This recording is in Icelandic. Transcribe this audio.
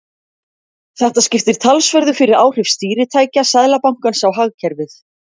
Þetta skiptir talsverðu fyrir áhrif stýritækja Seðlabankans á hagkerfið.